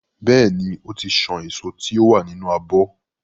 Bẹ́ẹ̀ ni, ó ti san èso tí ó wà nínú abọ́.